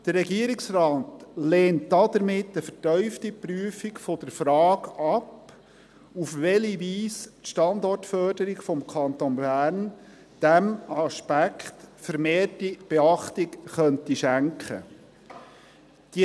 Der Regierungsrat lehnt damit eine vertiefte Prüfung der Frage ab, auf welche Weise die Standortförderung des Kantons Bern diesem Aspekt vermehrte Achtung schenken könnte.